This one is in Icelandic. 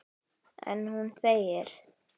En hún þegir.